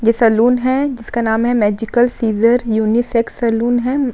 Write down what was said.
ये सैलून है जिसका नाम है मैंजिकल सीज़र यूनिसेक्स सैलून है।